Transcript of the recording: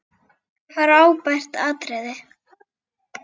Frábært atriði.